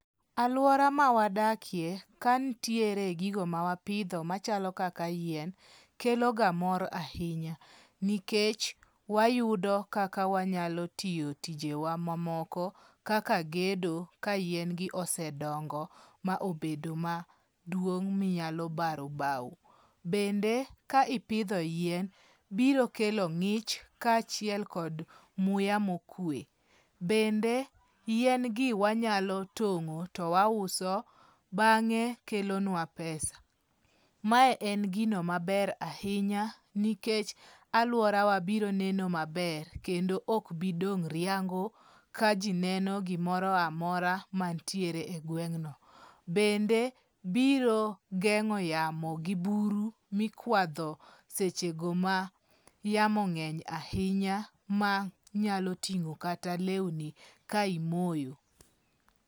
Aluora ma wadakie, ka nitiere gigo ma wapidho machalo kaka yien. Kelo ga mor ahinya nikech wayudo kaka wanyalo tiyo tije wa mamoko kaka gedo ka yien gi osedongo ma obedo maduong' minyalo baro baw. Bend e ka ipidho yien, biro kelo ngich ka achiel kod muya mokue. Bende yin gi wanyalo tong'o to wa uso bang'e kelonwa pesa. Mae en gino maber ahinya nikech aluorawa biro neno maber kendo ok bidong riango ka jineno gimoro amora mantiere e gweng'no. Bende biro geng'o yamo gi buru mikwadho seche go ma yamo ng'eny ahinya ma nyalo ting'o kata lewni ka imoyo.